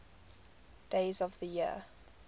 days of the year